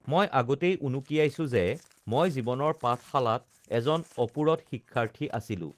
মই আগতেই উনুকিয়াইছোঁ যে মই জীৱনৰ পাঠশালাত এজন অপূৰঠ শিক্ষাৰ্থী আছিলোঁ